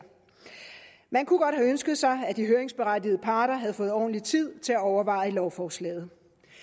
man kunne godt have ønsket sig at de høringsberettigede parter havde fået ordentlig tid til at overveje lovforslaget